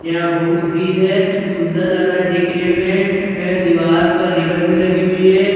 यहाँ बहुत भीड़ है सुंदर लग रहा है देखने में ऐ दीवार पे रिवन भी लगी हुई है अ --